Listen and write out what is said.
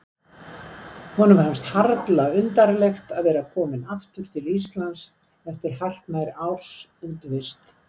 Honum fannst harla undarlegt að vera kominn aftur til Íslands eftir hartnær árs útivist.